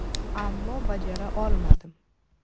Ammo bajara olmadim.